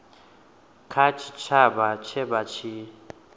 kha tshitshavha tshe vha tshi